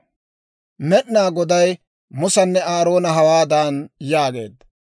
Med'inaa Goday Musanne Aaroona hawaadan yaageedda;